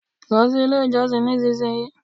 lo si ile ijosin ni isinsiyii